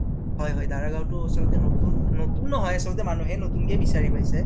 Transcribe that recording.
হয় হয়, দাৰা গাওঁতো উচৰতে নতুন, নতুন নহয় আচলতে নতুনকে বিছাৰি পাইছে